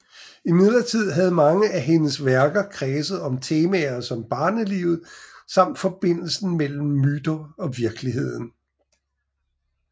Imidlertid havde mange af hendes værker kredset om temaer som barnelivet samt forbindelsen mellem myter og virkeligheden